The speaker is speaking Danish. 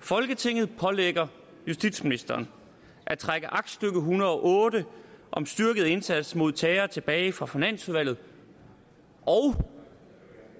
folketinget pålægger justitsministeren at trække aktstykke en hundrede og otte om styrket indsats mod terror tilbage fra finansudvalget og